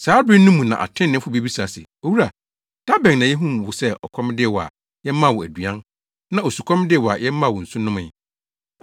“Saa bere no mu na atreneefo bebisa se, ‘Owura, da bɛn na yehuu wo sɛ ɔkɔm de wo a, yɛmaa wo aduan, na osukɔm de wo a yɛmaa wo nsu nomee?